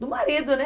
Do marido, né?